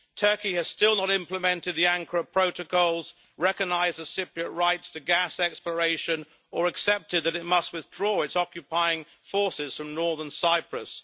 Turkey has still not implemented the Ankara Protocols, recognised Cypriot rights to gas exploration, or accepted that it must withdraw its occupying forces from northern Cyprus.